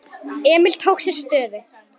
Emil tók sér stöðu.